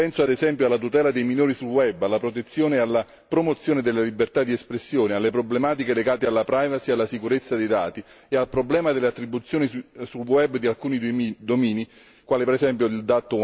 Penso, ad esempio, alla tutela dei minori sul web, alla protezione e alla promozione della libertà di espressione, alle problematiche legate alla privacy e alla sicurezza dei dati e al problema dell'attribuzione sul web di alcuni domini, come ad esempio il